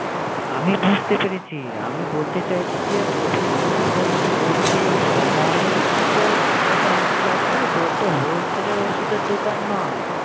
আমি বুঝতে পেরেছি। আমি বলতে চাইছি যে, প্রথম প্রথম তোর কি প্রত্যেক সময় কি তোর ছোটা হাতি লাগবে? তোর তো wholesale এর ওষুধের দোকান নয়।